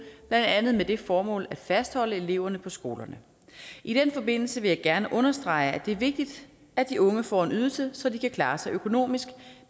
andet med det formål at fastholde eleverne på skolerne i den forbindelse vil jeg gerne understrege at det er vigtigt at de unge får en ydelse så de kan klare sig økonomisk